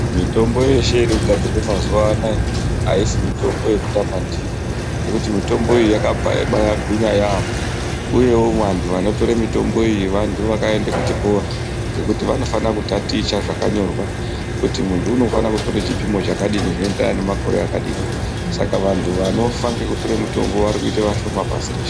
Mitombo yeshe iri kugadzirwa mazuwa anaya aisi mutombo yekutamba ndiyo ngekuti mutombo iyi yakabva yabaagwinya yaampo uyewo vantu vanotore mitombo iyi vantu vakaenda kuchikora ngekuti vanofanire kutaticha zvakanyorwa kuti muntu unofana kutora chipimo chakadini zvinoenderana ngemakore akadini saka vantu vanofa vari kuite vashoma pasi reshe.